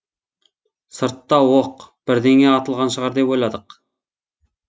сыртта оқ бірдеңе атылған шығар деп ойладық